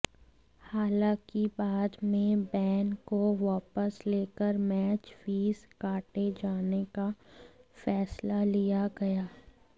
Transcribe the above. हालांकि बाद में बैन को वापस लेकर मैच फीस काटे जाने का फैसला लिया गया